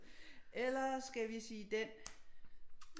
Eller skal vi sige den